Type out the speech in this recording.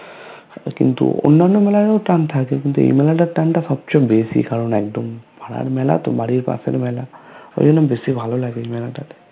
আর কিন্তু অন্নান মেলাতেও টান থাকে কিন্তু এইমেলাতার টান টা সবচে বেশি কারণ একদম পারার মেলাতো বাড়ির পাশের মেলা ঐজন্য বেশি ভালো লাগে এই মেলাটাতে